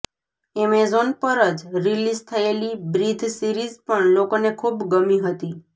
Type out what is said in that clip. Amazon પર જ release થયેલી બ્રીધ સિરીઝ પણ લોકોને ખૂબ ગમી હતી